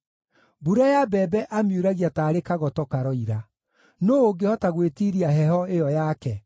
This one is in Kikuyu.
Mbura ya mbembe amiuragia taarĩ kagoto karoira. Nũũ ũngĩhota gwĩtiiria heho ĩyo yake?